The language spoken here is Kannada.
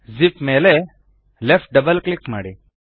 ಜಿಪ್ ಮೇಲೆ ಲೆಫ್ಟ್ ಡಬಲ್ ಕ್ಲಿಕ್ ಮಾಡಿ